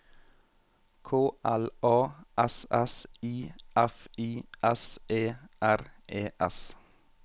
K L A S S I F I S E R E S